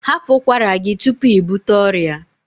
Hapụ ụkwara gị tupu ị bute ọrịa!